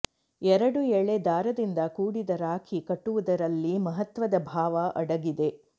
ಎರಡು ಎಳೆ ದಾರದಿಂದ ಕೂಡಿದ ರಾಖೀ ಕಟ್ಟುವುದರಲ್ಲಿ ಮಹತ್ವದ ಭಾವ ಅಡಗಿದೆ